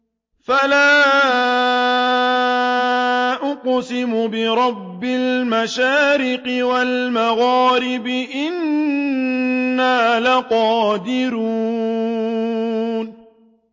فَلَا أُقْسِمُ بِرَبِّ الْمَشَارِقِ وَالْمَغَارِبِ إِنَّا لَقَادِرُونَ